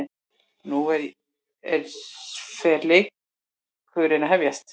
Nú er fer leikurinn að hefjast